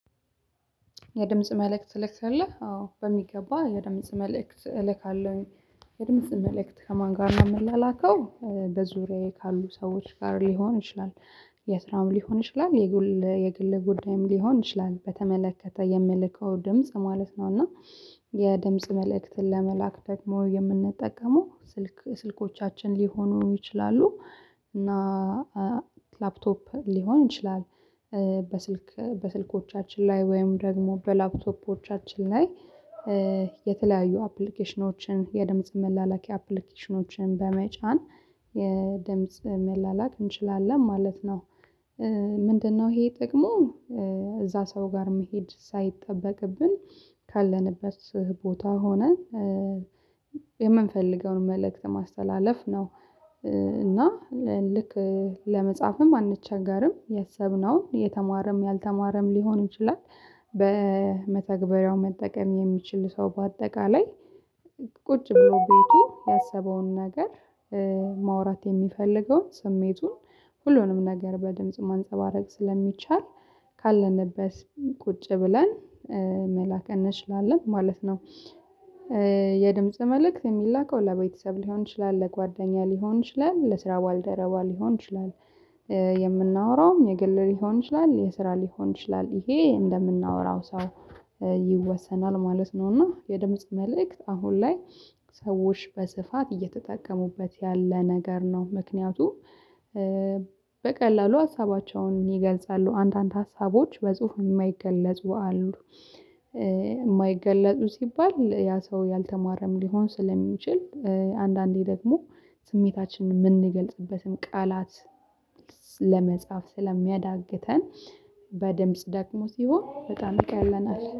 የድምጽ መልእክት ትልካለህ አዎ በሚገባ የድምጽ መልእክት እልካለሁኝ። የድምጽ መልእክት ከማን ጋር ነው የምላላከው በዙሪያዬ ካሉ ሰዎች ጋር ሊሆን ይችላል። የስራም ሊሆን ይችላል የግል የግል ጉዳይም ሊሆን ይችላል በተመለከተ የምልከው ድምጽ ማለት ነው። እና የድምጽ መልእክትን ለመላክ ደግሞ የምንጠቀመው ስልክ ስልኮቻችን ሊሆኑ ይችላሉ። እና ላፕቶፕ ሊሆን ይችላል። በስልክ በስልኮቻችን ላይ ወይም ደግሞ በላፕቶፖቻችን ላይ የተለያዩ አፕሊኬሽኖችን የድምጽ መላላኪያ አፕሊኬሽኖችን በመጫን የድምጽ መላላክ እንችላለን ማለት ነው። ምንድነው ይሄ ጥቅሙ? እዛ ሰው ጋር መሄድ ሳይጠበቅብን ካለንበት ቦታ ሆነን የምንፈልገውን መልእክት ማስተላለፍ ነው። እና ልክ ለመጻፍም አንቸገርም ያሰብነውን የተማረም ያልተማረም ሊሆን ይችላል። በመተግበሪያው መጠቀም የሚችል ሰው በአጠቃላይ ቁጭ ብሎ ቤቱ ያሰበውን ነገር ማውራት የሚፈልገውን ስሜቱን ሁሉንም ነገር በድምጽ ማንፀባረቅ ስለሚቻል ካለንበት ቁጭ ብለን መላክ እንችላለን ማለት ነው። የድምጽ መልእክት እሚላከው ለቤተሰብ ሊሆን ይችላል ለጓደኛ ሊሆን ይችላል ለስራ ባልደረባ ሊሆን ይችላል። የምናወራውም የግል ሊሆን ይችላል የስራ ሊሆን ይችላል ይሄ እንደምናወራው ሰው ይወሰናል ማለት ነው። እና የድምጽ መልእክት አሁን ላይ ሰዎች በስፋት እየተጠቀሙበት ያለ ነገር ነው። ምክንያቱም በቀላሉ ሀሳባቸውን ይገልጻሉ አንድ አንድ ሀሳቦች በጽሁፍ የማይገለጹ አሉ። የማይገለጹ ሲባል ያ ሰው ያልተማረም ሊሆን ስለሚችል አንዳንዴ ደግሞ ስሜታችንን የምንገልጽበትን ቃላት ለመጻፍ ስለሚያዳግተን በድምጽ ደግሞ ሲሆን በጣም ይቀለናል